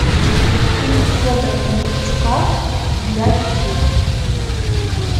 фильм федора бондарчука для детей